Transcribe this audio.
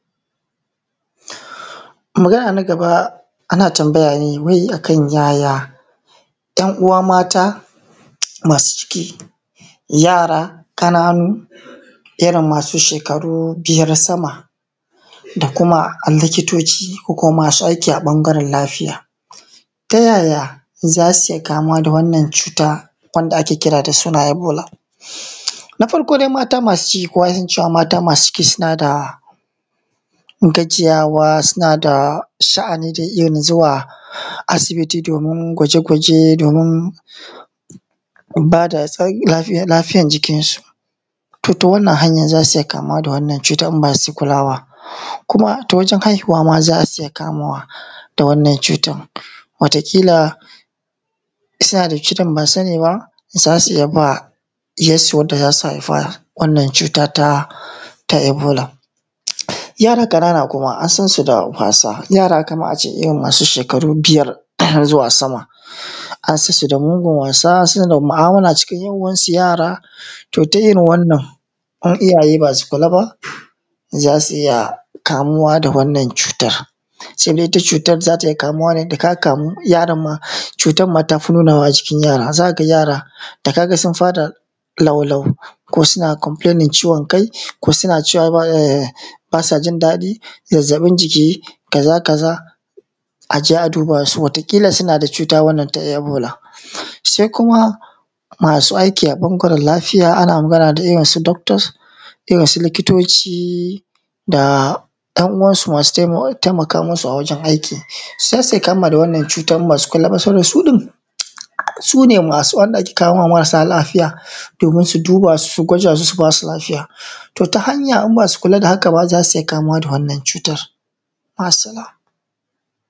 Magana na gaba, ana tambaya ne wai a kan yaya, ‘yan uwa mata masu ciki, yara ƙananu, irin masu shekaru biyar sama da kuma likitoci ko kuma masu aiki a ƃanagarel lafiya. Ta yaya, za su iya kamuwa da wannan cuta wanda ake kira da suna ebola. Na farko dai, mata masu ciki, kowa ya san cewa mata masu ciki suna da gajiyawa suna da sha’ani irin na zuwa asibiti domin gwaje-gwaje, domin ba da tsan; lafi; lafiyan jikinsu. To, ta wannan hanyan za su iya kamuwa da wannan cuta in ba su kulawa. Kuma, ta wajen haihuwa ma za su iya kamuwa da wannan cutan. Wata kila, in suna da cutan ba su sani ba, za su iya ba ɗiyassu wanda za su haifa wannan cuta ta ta ebola. Yara ƙanana kuma, an san su da wasa, yara kaman a ce irin masu shekaru biyar zuwa sama, an san su da mugun wasa, suna da mu’amala cikin ‘yan uwansu yara. To, ta irin wannan, in iyaye ba su kula ba, za su iya kamuwa da wannan cuta. Sai dai, ita cutar za ta iya kamuwa ne, da ka kamu, yaron ma, cutan ma ta fi nunawa a jikin yara. Za ka ga yara, da ka ga sun fara lau-lau, ko suna “complaining” ciwon kai, ko suna cewa eh; ba sa jin daɗi, zazzaƃin jiki, kaza kaza, a je a duba su, wata ƙila, suna da cuta wannan ta ebola. Se kuma, masu aiki a ƃanagren lafiya, ana magana da irin su “doctors”, irin su likitoci da ‘yan uwansu masu tema; temaka musu a wajen aiki. Za su iya kamuwa da wannan cuta in ba su kula ba, saboda su ɗin, su ne masu wanda ake kawo ma marasa lafiya, domin su duba su, su gwada su, su ba su lafiya. To, ta hanya in ba su kula da haka ba, za su iya kamuwa da wannan cutar, ma’assalam.